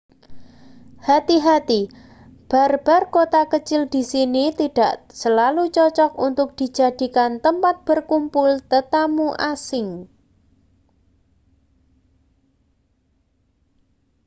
hati-hati bar-bar kota kecil di sini tidak selalu cocok untuk dijadikan tempat berkumpul tetamu asing